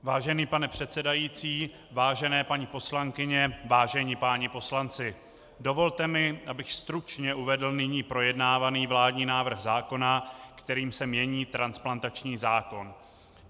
Vážený pane předsedající, vážené paní poslankyně, vážení páni poslanci, dovolte mi, abych stručně uvedl nyní projednávaný vládní návrh zákona, kterým se mění transplantační zákon.